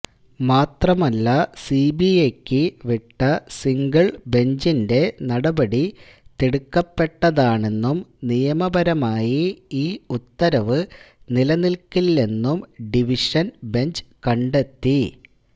മാത്രമല്ല സിബിഐക്ക് വിട്ട സിംഗിള് ബെഞ്ചിന്റെ നടപടി തിടുക്കപ്പെട്ടതാണെന്നും നിയമപരമായി ഈ ഉത്തരവ് നിലനില്ക്കില്ലെന്നും ഡിവിഷന് ബെഞ്ച് കണ്ടെത്തി